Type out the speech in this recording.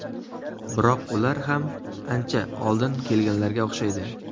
Biroq ular ham ancha oldin kelganlarga o‘xshaydi.